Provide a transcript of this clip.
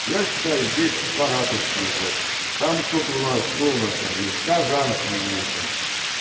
я считаю здесь саратовские блядь там кто-то у нас кто у нас там есть казанский есть он